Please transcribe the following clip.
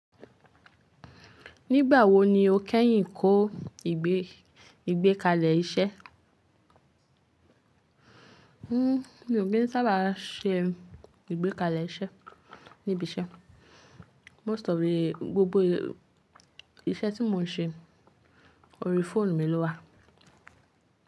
Nígbà wo ni o kẹ́yìn kó ìgbékalẹ̀ iṣẹ́? N o gé n sábà ṣe ìgbékalẹ̀ iṣẹ́ níbi iṣẹ́. Most of the gbogbo iṣẹ́ tí mo n ṣe ori fóònù mi ló wà.